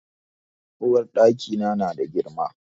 Uwarɗaki na na da girma.